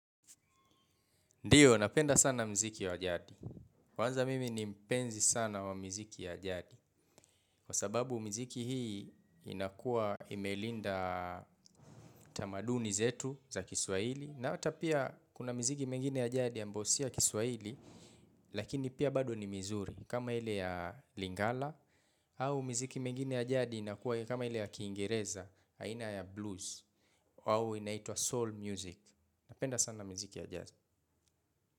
Ndiyo, napenda sana muziki wa jadi. Kwanza mimi ni mpenzi sana wa miziki ya jadi. Kwa sababu miziki hii inakua imelinda tamaduni zetu za kiswahili. Na ata pia kuna miziki mengine ya jadi ambayo sio ya kiswahili. Lakini pia bado ni mizuri. Kama ile ya lingala. Au miziki mengine ya jadi inakua kama ile ya kiingereza. Aina ya blues. Au inaitwa soul music. Napenda sana miziki ya jadi.